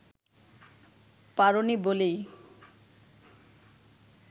পারোনি বলেই